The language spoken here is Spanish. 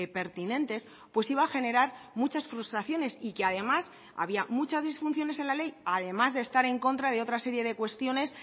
pertinentes pues iba a generar muchas frustraciones y que además había muchas disfunciones en la ley además de estar en contra de otras serie de cuestiones